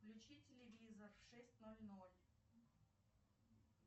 включи телевизор в шесть ноль ноль